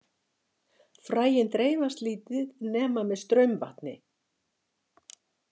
Fræin dreifast lítið nema með straumvatni.